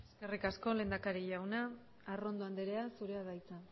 eskerrik asko lehendakari jauna arrondo andrea zurea da hitza